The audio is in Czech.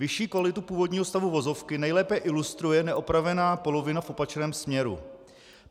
Vyšší kvalitu původního stavu vozovky nejlépe ilustruje neopravená polovina v opačném směru.